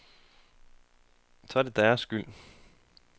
Så er det deres skyld.